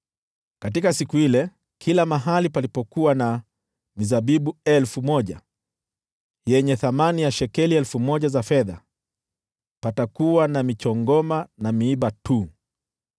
Katika siku ile, kila mahali palipokuwa na mizabibu elfu moja yenye thamani ya shekeli 1,000 za fedha, patakuwa na michongoma na miiba tu.